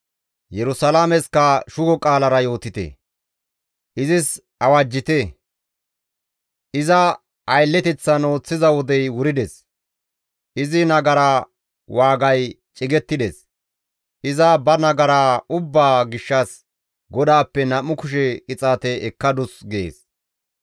Yerusalaameskka shugo qaalara yootite; izis awajjite; iza aylleteththan ooththiza wodey wurides; izi nagara waagay cigettides; iza ba nagara ubbaa gishshas GODAAPPE nam7u kushe qixaate ekkadus» gees.